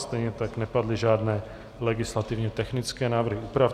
Stejně tak nepadly žádné legislativně technické návrhy úprav.